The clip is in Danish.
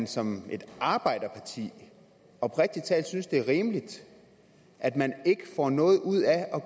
som et arbejderparti oprigtig talt synes det er rimeligt at man ikke får noget ud af at